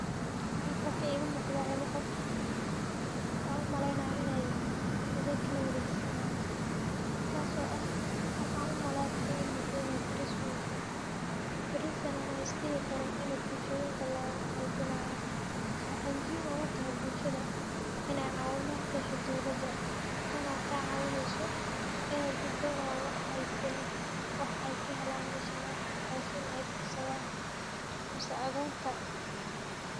Laba qof oo adheg kala warejisanayan ayaa waxay la kulmaan dhibaato marka ay tahay kala wareejinta ama kala tagga. Midkood wuxuu dareemayaa in uu lumiyo qeyb muhiim ah oo nololshiisa ah, halka kan kalena uu dareemayo culays iyo murugo.